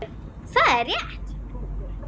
Það er rétt.